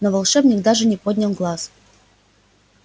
но волшебник даже не поднял глаз